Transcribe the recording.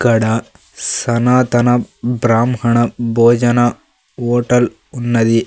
ఇక్కడ సనాతన బ్రాహ్మణ భోజన హోటల్ ఉన్నది.